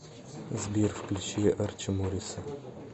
сбер включи арчо морриса